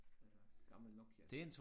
Altså gammel Nokia